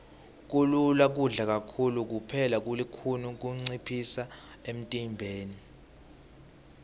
kulula kudla kakhulu kepha kulukhuni kuncipha emntimbeni